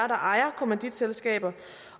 ejer kommanditselskaber